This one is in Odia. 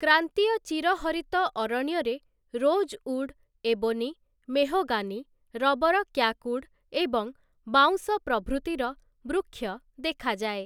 କ୍ରାନ୍ତୀୟ ଚିରହରିତ ଅରଣ୍ୟରେ ରୋଜ୍ଉଡ୍, ଏବୋନି, ମେହଗାନୀ, ରବର କ୍ୟାକ୍ଉଡ୍ ଏବଂ ବାଉଁଶ ପ୍ରଭୃତିର ବୃକ୍ଷ ଦେଖାଯାଏ ।